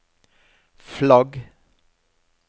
flagg